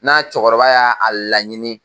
N'a cɛkɔrɔba y'a a laɲini